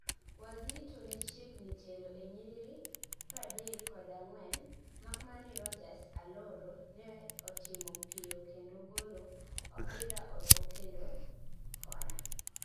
Wazito ne chiegni telo e nyiriri pradek kod angwen, makmana ni Rogers Aloro ne otimo piyo kendo golo opira oko kendo kona